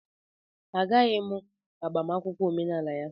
Agaghị m aga agbamakwụkwọ omenala ya